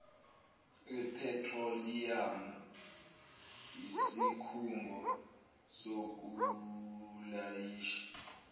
ephethroliyamu isikhungo sokulayisha